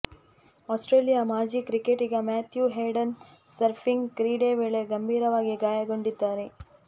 Australia ಮಾಜಿ ಕ್ರಿಕೆಟಿಗ Matthew Hayden surfing ಕ್ರೀಡೆ ವೇಳೆ ಗಂಭೀರವಾಗಿ ಗಾಯಗೊಂಡಿದ್ದಾರೆ